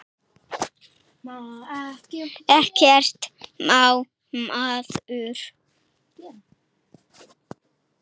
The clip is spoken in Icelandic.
Ekkert má maður!